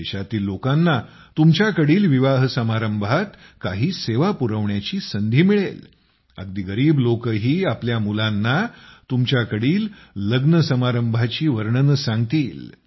देशातील लोकांना तुमच्याकडील विवाहसमारंभात काही सेवा पुरवण्याची संधी मिळेल अगदी गरीब लोकही आपल्या लहान लहान मुलांना तुमच्याकडील लग्नसमारंभाची वर्णने सांगतील